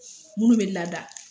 Munnu be lada